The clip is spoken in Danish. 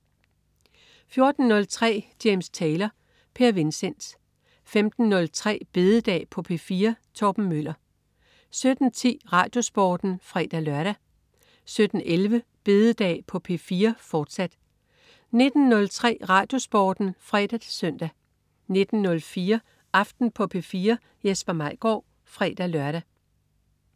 14.03 James Taylor. Per Vincent 15.03 Bededag på P4. Torben Møller 17.10 RadioSporten (fre-lør) 17.11 Bededag på P4, fortsat 19.03 RadioSporten (fre-søn) 19.04 Aften på P4. Jesper Maigaard (fre-lør)